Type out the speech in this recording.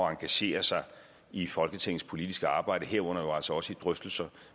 at engagere sig i folketingets politiske arbejde herunder altså også i drøftelser